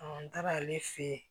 n taara ale fe yen